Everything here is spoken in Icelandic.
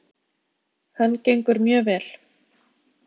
. hann gengur mjög vel.